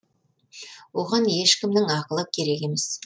оған ешкімнің ақылы керек емес